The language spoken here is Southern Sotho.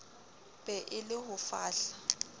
be e le ho fahla